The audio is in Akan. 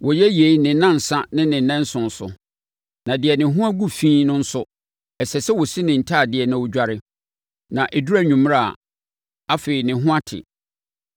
Wɔyɛ yei ne nnansa ne ne nnanson so. Na deɛ ne ho agu fi no nso, ɛsɛ sɛ ɔsi ne ntadeɛ na ɔdware, na ɛduru anwummerɛ a, afei ne ho ate.